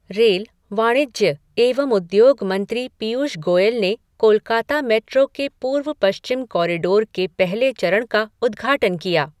Rail, वाणिज्य एवं उद्योग मंत्री पीयूष गोयल ने कोलकाता मेट्रो के पूर्व पश्चिम कॅारिडोर के पहले चरण का उद्धाटन किया।